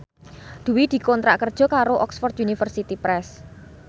Dwi dikontrak kerja karo Oxford University Press